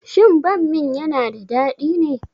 Shin bammin yana da dadi ne?